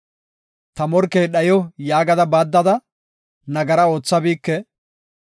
‘Ta morkey dhayo’ yaaga baaddada, nagara oothabike.